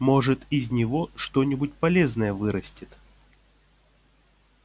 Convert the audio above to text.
может из него что-нибудь полезное вырастет